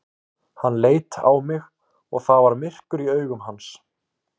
Hann leit á mig og það var myrkur í augum hans.